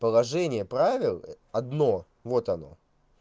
положение правил одно вот оно